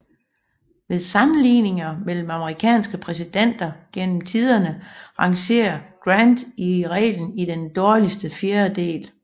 Ved sammenligninger mellem amerikanske præsidenter gennem tiderne rangerer Grant i reglen i den dårligste fjerdedel